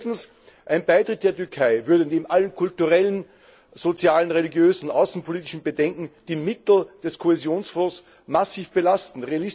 Viertens Ein Beitritt der Türkei würde neben allen kulturellen, sozialen, religiösen und außenpolitischen Bedenken die Mittel des Kohäsionsfonds massiv belasten.